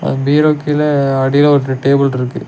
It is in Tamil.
பீரொ கீழ அடியில ஒரு டேபுள் ருக்கு.